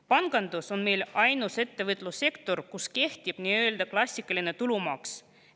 Pangandus on meil ainus ettevõtlussektor, kus kehtib nii-öelda klassikaline tulumaks.